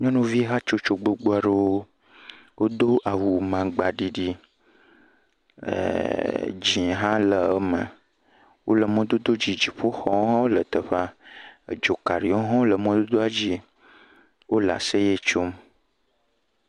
Nyɔnuvihatsotso gbogboaɖewo wodo awu maŋgbaɖiɖi ɛɛɛ dzĩɛ hã le eme wole mɔdododzi dziƒoxɔwo hã le teƒea. Edzokaɖiwo hã wole mɔdodoadzie, wole aseye tsom.